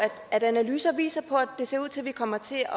at analyser viser at det ser ud til at vi kommer til